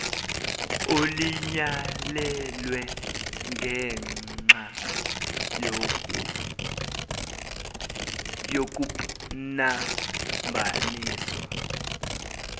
olinyalelwe ngengxa yokupnambaniswa